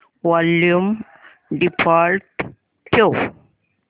volume default ठेव